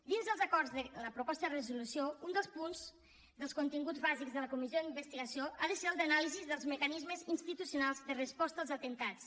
dins dels acords de la proposta de resolució un dels punts dels continguts bàsics de la comissió d’investigació ha de ser el d’anàlisi dels mecanismes institucionals de resposta als atemptats